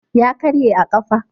Ya karye a ƙafa.